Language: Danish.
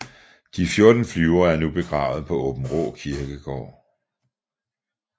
De 14 flyvere er nu begravet på Aabenraa Kirkegård